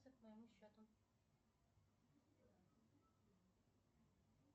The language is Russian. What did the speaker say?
к моему счету